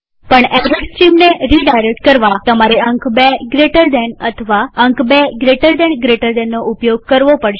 પણ એરર સ્ટ્રીમને રીડાયરેક્ટ કરવાતમારે અંક ૨gtએક જમણા ખૂણાવાળો કૌંસ અથવા અંક ૨gtgtબે જમણા ખૂણાવાળા કૌંસ નો ઉપયોગ કરવો પડશે